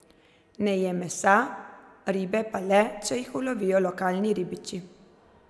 Ne je mesa, ribe pa le, če jih ulovijo lokalni ribiči.